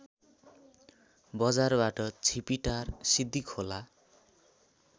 बजारबाट छिपिटार सिद्धिखोला